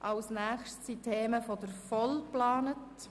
Als Nächstes sind die Themen der VOL geplant.